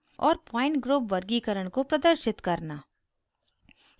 और point group वर्गीकरण को प्रदर्शित करना